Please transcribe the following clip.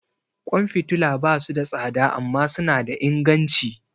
Kwan fitila ba su da tsada amma suna da inganci.